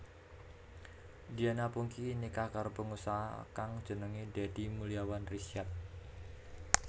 Diana Pungky nikah karo pengusaha kang jenengé Dedey Mulyawan Risyad